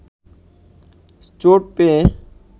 চোট পেয়ে